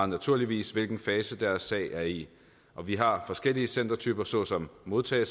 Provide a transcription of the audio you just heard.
naturligvis hvilken fase deres sag er i vi har forskellige centertyper såsom modtage